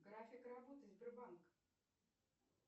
график работы сбербанк